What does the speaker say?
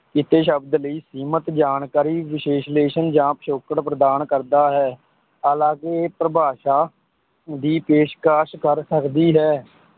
ਕੀਤੇ ਸ਼ਬਦ ਲਈ ਸੀਮਿਤ ਜਾਣਕਾਰੀ, ਵਿਸ਼ਲੇਸ਼ਣ ਜਾਂ ਪਿਛੋਕੜ ਪ੍ਰਦਾਨ ਕਰਦਾ ਹੈ, ਹਾਲਾਂਕਿ ਇਹ ਪਰਿਭਾਸ਼ਾ ਦੀ ਪੇਸ਼ਕਸ਼ ਕਰ ਸਕਦੀ ਹੈ,